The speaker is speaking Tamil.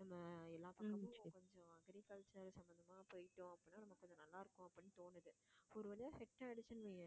நம்ம எல்லா agriculture சம்பந்தமா போயிட்டோம் அப்படின்னா நமக்கு கொஞ்சம் நல்லா இருக்கும் அப்படின்னு தோணுது ஒரு வழியா set ஆயிடுச்சுன்னு வையேன்